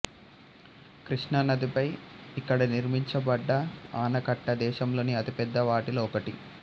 కృష్ణా నదిపై ఇక్కడ నిర్మించబడ్డ ఆనకట్ట దేశంలోని అతిపెద్ద వాటిలో ఒకటి